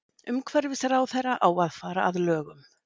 Umhverfisráðherra á að fara að lögum